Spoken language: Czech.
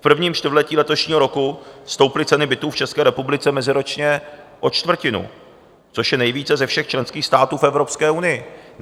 V prvním čtvrtletí letošního roku stouply ceny bytů v České republice meziročně o čtvrtinu, což je nejvíce ze všech členských států v Evropské unii.